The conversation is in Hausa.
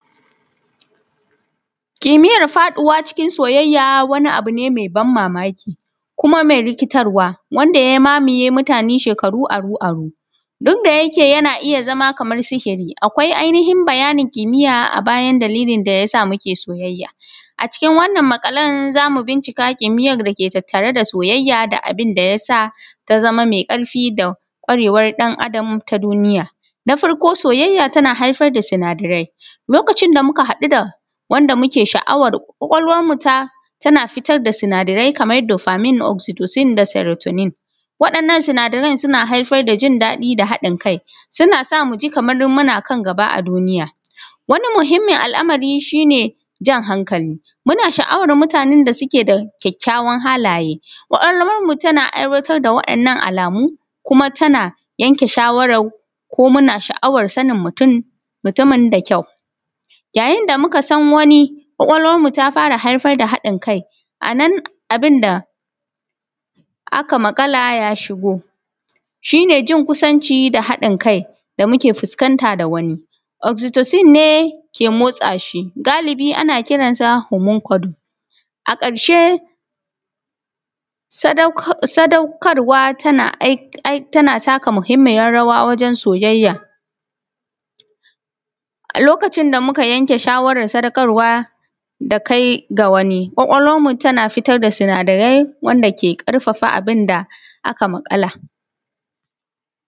Kimiyyar faduwa cikin soyayya, wani abune mai ban mamaki. Kuma mai rikitarwa. Wanda ya mamaye mutane shekaru aru-aru. Duk da yake yana iya zama kamar sihiri. Akwai ainihin bayanin kimiyya. Abayan dalilin dayasa muke soyayya. Acikin wannan maƙalan, zamu bincika kimiyyar dake tattare da soyayya. Da abin dayasa tazama mai karfi. Da kwarewar dan adam ta duniya. Na farko soyayya tana haifar da sinadarai. Lokacin da muka hadu da muke shaˀawar. Kwakwalwarmu ta tana fitarda sinadarai. Kamar dopamine oxytocin da syrotodocining. Waɗannan sinidaran suna haifar da jindaɗi da hadin kai. Susa muji kamar muna kan gaba a duniya. Wani muhimmin al’amari shine jan hankali. Muna sha’awar mutanen da suke da kyakkyawan halaye. ƙwakwalwarmu tana aiwatar da wa’innan alamu. kuma tana yanke shaˀawarar. Ko muna shaˀ’awar sanin mutun mutumin da kyau. Yayin damuka san wani. ƙwakwalwarmu ta fara hadin kai. Anan abinda aka maƙala ja shigo. Shine yin kusanci da hadin kai. Da muke fuskanta da wani. Oxytocin ne ke motsa shi. Galibi ana kiransa homoncodo. A ƙarshe. Sadauk sadaukarwa tana ai ai. Tana taka muhimmiyar rawa wajen soyayya. A lokacin da muka yanke shaˀawarar sadakarwa. Da kai ga wani. ƙwakwalwarmu tana fitar da sinadarai. Wanda ke ƙarfafa abinda aka maƙala.